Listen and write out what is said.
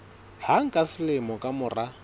hang ka selemo ka mora